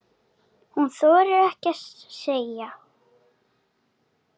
Hún þorir ekkert að segja.